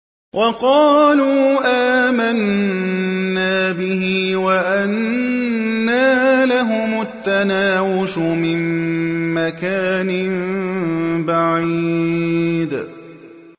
وَقَالُوا آمَنَّا بِهِ وَأَنَّىٰ لَهُمُ التَّنَاوُشُ مِن مَّكَانٍ بَعِيدٍ